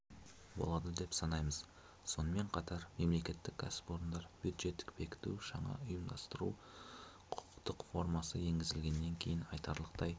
болады деп санаймыз сонымен қатар мемлекеттік кәсіпорындар бюджеттік бекіту жаңа ұйымдастыру-құқықтық формасы енгізілгеннен кейін айтарлықтай